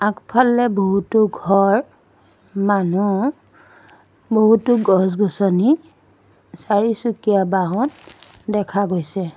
আগফালে বহুতো ঘৰ মানুহ বহুতো গছ-গছনি চাৰিচকীয়া বাহন দেখা গৈছে।